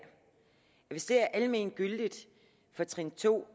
hvis det er almengyldigt for trin to